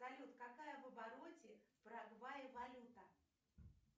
салют какая в обороте в парагвае валюта